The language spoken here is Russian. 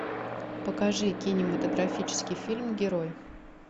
покажи кинематографический фильм герой